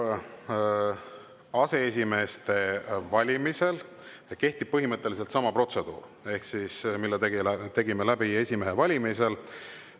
Riigikogu aseesimeeste valimisel kehtib põhimõtteliselt sama protseduur, mille tegime läbi esimehe valimisel.